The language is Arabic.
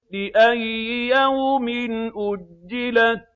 لِأَيِّ يَوْمٍ أُجِّلَتْ